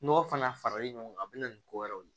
Nɔgɔ fana faralen ɲɔgɔn kan a bɛ na ni ko wɛrɛw ye